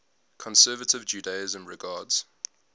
conservative judaism regards